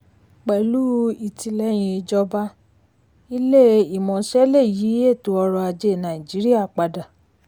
pẹ̀lú ìtìlẹ́yìn ìjọba ilé-ìmọ̀ṣẹ́ lè yí eto ọrọ̀ ajé nàìjíríà padà.